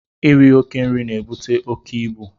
Iri oke nri na-ebute oke ibu.